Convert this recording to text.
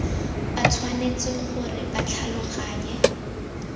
ba tshwanetse gore ba tlhaloganye